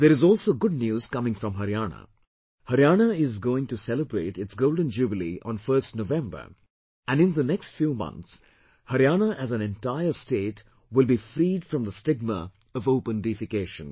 There is also good news coming from Haryana, Haryana is going to celebrate its Golden jubilee on 1st November and in next few months, Haryana as an entire state will be freed from the stigma of open defecation